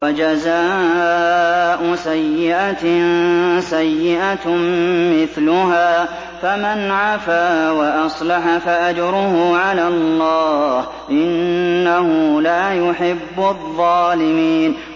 وَجَزَاءُ سَيِّئَةٍ سَيِّئَةٌ مِّثْلُهَا ۖ فَمَنْ عَفَا وَأَصْلَحَ فَأَجْرُهُ عَلَى اللَّهِ ۚ إِنَّهُ لَا يُحِبُّ الظَّالِمِينَ